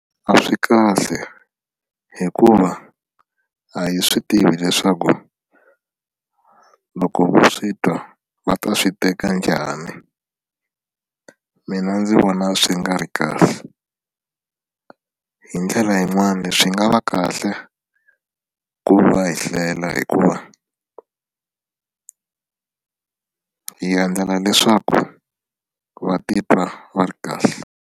A swi kahle hikuva a hi swi tivi leswaku loko va swi twa va ta swi teka njhani mina ndzi vona swi nga ri kahle hi ndlela yin'wani swi nga va kahle ku va hi hlela hikuva hi endlela leswaku va titwa va ri kahle.